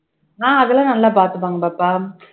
ஆஹ் அதெல்லாம் நல்லா பாத்துப்பாங்க பாப்பா